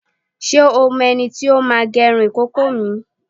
Ṣé o mọ ẹni tí ó máa gẹrun ìkókó mi?